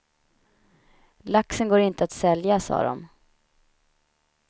Laxen går inte att sälja, sa dom.